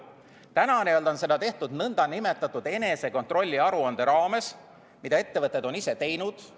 Täna on seda tehtud nn enesekontrolli aruande raames, mida ettevõtted on ise teinud.